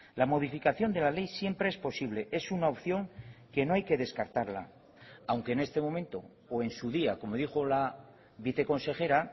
la modificación de la ley siempre es posible es una opción que no hay que descartarla aunque en este momento o en su día como dijo la viceconsejera